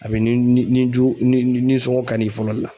A bɛ ni ni jugu ni ni nisɔngo kann'i fɔlɔ le la.